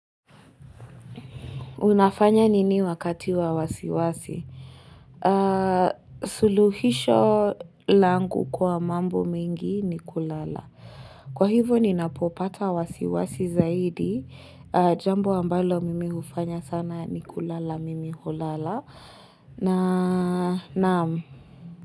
Unafanya nini wakati wa wasiwasi? Suluhisho langu kwa mambo mengi ni kulala. Kwa hivyo ninapopata wasiwasi zaidi, jambo ambalo mimi hufanya sana ni kulala, mimi hulala na naam.